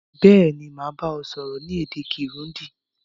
Béèni, màá ba ọ sọ́rọ́ ni èdè Kirundi